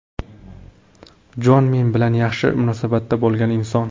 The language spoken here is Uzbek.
Jon men bilan yaxshi munosabatda bo‘lgan inson.